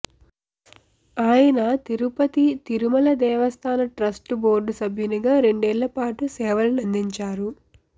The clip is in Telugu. ఆయన తిరుపతి తిరుమల దేవస్థాన ట్రస్టు బోర్డు సభ్యునిగా రెండేళ్ళపాటు సేవలనందించారు